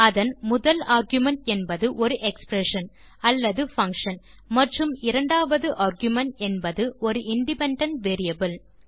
அதன் முதல் ஆர்குமென்ட் என்பது ஒரு எக்ஸ்பிரஷன் அல்லது பங்ஷன் மற்றும் இரண்டாவது ஆர்குமென்ட் என்பது ஒரு இண்டிபெண்டன்ட் வேரியபிள்